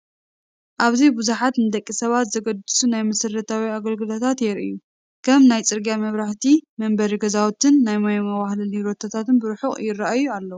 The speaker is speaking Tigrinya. ኣብዚ ብዙሓት ንደቂ ሰባት ዘገድሱ ናይ መሰረታዊ ኣገልግሎታት ይራኣዩ፡፡ ከም ናይ ፅርግያ መብራህቲ፣ መንበሪ ገዛውትን ናይ ማይ ማዋህለሊ ሮቶታትን ብርሑቕ ይራኣዩ ኣለው፡፡